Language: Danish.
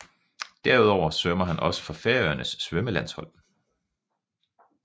Derudover svømmer han også for Færøernes svømmelandshold